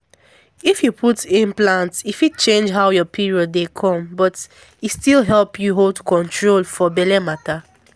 if you put implant e fit change how your period dey come but e still help you hold control for belle matter.